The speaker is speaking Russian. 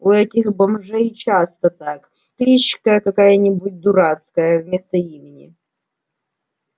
у этих бомжей часто так кличка какая-нибудь дурацкая вместо имени